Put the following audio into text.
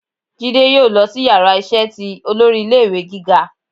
Jidé yóò losí iyàrá iṣẹ tí olórí ilé ìwé gíga